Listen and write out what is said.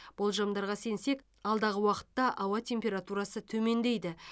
болжамдарға сенсек алдағы уақытта ауа температурасы төмендейді